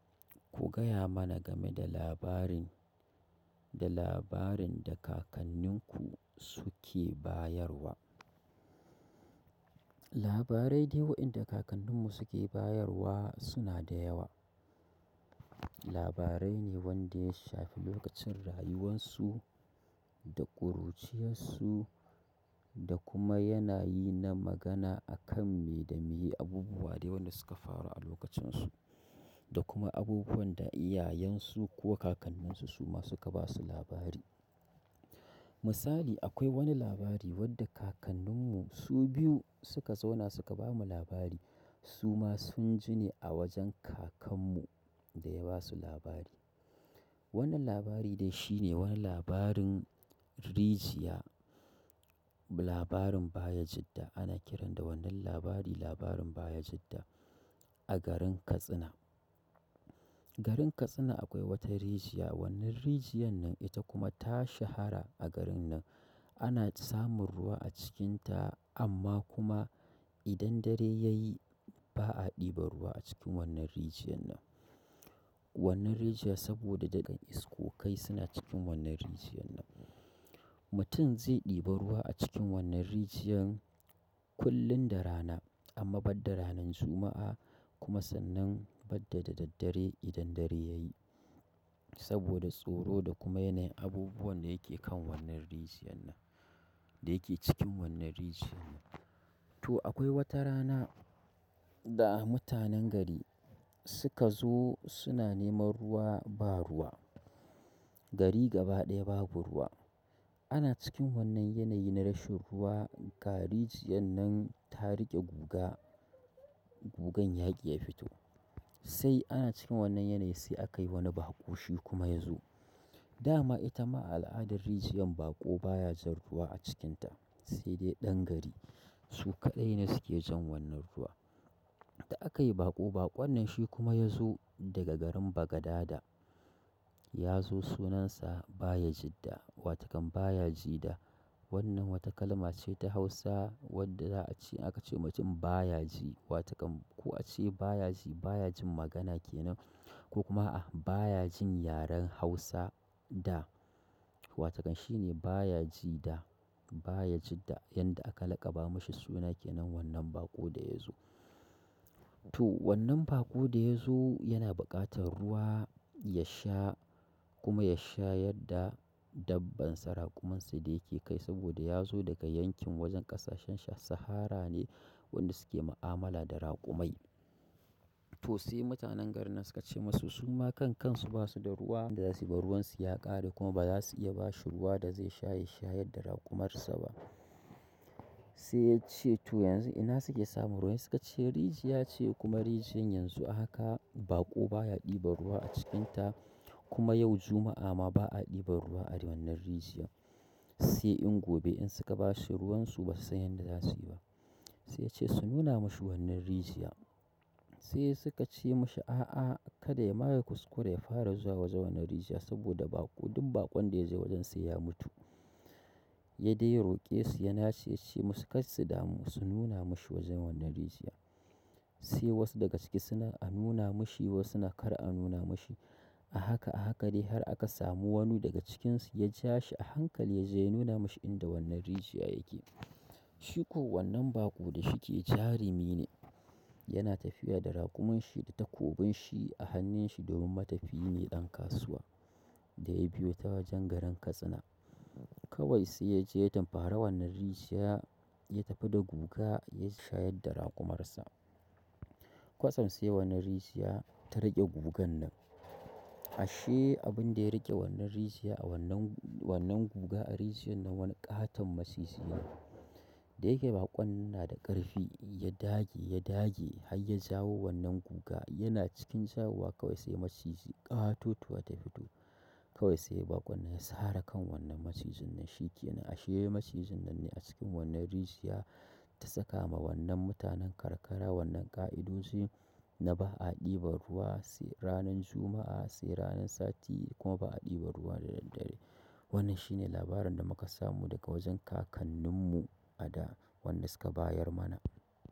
Ku gaya mana game da labarin, da labarin da kakanninku suke bayarwa. Labarai dai wayenda kakanninmu suke bayarwa suna da yawa. Labarai ne wanda ya shafi lokacin rayuwansu da ƙuruciyarsu da kuma yanayi na magana akan me da meye abubuwa da wanda suka faru a lokacin su. Da kuma abubuwan da iyayensu ko kakanninsu su ma suka ba su labari. Misali, akwai wani labari wadda kakanninmu su biyu suka zauna suka ba mu labari. Su ma sun jini a wajen kakanmu da ya ba su labari. Wannan labari dai shine wani labarin rijiya, labarin Bayajidda. Ana kiran da wannan labari labarin Bayajiddan a garin Katsina. Garin Katsina akwai wata rijiya. Wannan rijiyar nan ita kuma ta shahara a garin nan. Ana samun ruwa a cikinta amma kuma idan dare yayi ba'a ɗiban ruwa a cikin wannan rijiyan nan wannan rijiya saboda da iskokai suna cikin wannan rijiyar nan. Mutum zai ɗiba ruwa a cikin wannan rijiyar kullum da rana amma badda ranan Juma'a kuma sannan badda da daddare idan dare ya yi. Saboda tsoro da kuma yanayi abubuwan da yake kan wannan rijiyar nan, da yake cikin wannan rijiyar nan. To akwai wata rana da mutanen gari suka zo suna neman ruwa ba ruwa. Gari gaba ɗaya babu ruwa. Ana cikin wannan yanayi na rashin ruwa ga rijiyar nan ta riƙe guga, gugan yaƙi ya fito. Sai ana cikin wannan yanayi sai akai wani baƙo shi kuma ya zo. Da ma ita ma al'adar rijiyar baƙo baya jan ruwa a cikinta. Sai dai ɗan gari su kaɗai ne suke jan wannan ruwa. Da aka yi baƙo baƙon nan shi kuma ya zo daga garin Bagadada. Ya zo sunan sa Bayajidda. Watakan Bayajida wannan wata kalma ce ta Hausa wadda za'a ce aka ce wa mutum baya ji. Watakan ko a ce baya ji, baya jin magana ke nan ko kuma a baya jin yaren Hausa da. Watakan shi ne baya ji da. Bayajidda. Yanda aka lakaba mashi suna ke nan wannan baƙo da ya zo. To wannan baƙo da ya zo yana buƙatar ruwa ya sha kuma ya shayar da dabban sa, raƙumin sa da yake kai saboda ya zo daga yankin wajen ƙasashen Saharan ne wanda suke ma'amala da raƙumai. To sai mutanen garin nan suka ce masa su ma kan kansu ba su da ruwa. Da za su bayar ruwan su ya ƙare kuma ba za su iya ba shi ruwa da zai sha ya shayar da raƙumarsa ba. Sai ya ce to yanzu ina suke samun ruwa? Sai suka ce rijiya ce kuma rijiyar yanzu haka baƙo baya ɗiba ruwa a cikinta. Kuma yau Juma'a ma ba a ɗiban ruwa a wannan rijiya. Sai in gobe in suka ba shi ruwan su basu san yadda za su yi ba. Sai ya ce su nuna mashi wannan rijiya. Sai suka ce mashi a'a kada ma ya kuskura ya fara zuwa wajen wannan rijiyar, saboda duk baƙon da yazo wajen sai ya mutu ya dai roƙe su ya nace ce musu kar su damu su nuna mashi wajen wannan rijiya. Sai wasu daga ciki suna a nuna mashi wasu suna kar a nuna mashi. A haka a haka dai har aka samu wani daga cikinsu ya ja shi a hankali ya je ya nuna mashi inda wannan rijiya yake. Shiko wannan baƙo da ahike jarumi ne yana tafiya da raƙumin shi da takobin shi a hannun shi do min matafiyi ne ɗan kasuwa da ya biyo ta wajen garin Katsina. Kawai sai ya je ya tunkari wannan rijiya ya tafi da guga ya shayar da raƙumarsa. Kwasan sai wannan rijiya ta riƙe gugan nan. Ashe abin da ya riƙe wannan rijiya a wannan, wannan guga a rijiyar nan wani ƙaton maciji ne. Da yake baƙon nan na da ƙarfi ya dage ya dage har ya jawo wannan guga yana cikin jawowa kawai sai maciji ƙatotuwa ta fito. Kawai sai baƙon nan ya sare kan wannan macijin nan shi ke nan. Ashe macijin nan ne a cikin wannan rijiya ta saka ma wannan mutanen karkara wannan ƙa'idoin na ba a ɗiba ruwa sai ranan Juma'a, sai ranan Sati kuma ba a ɗiban ruwa da daddare. Wannan shi ne labarin da muka samu daga wajen kakanninmu a da wanda suka bayar mana.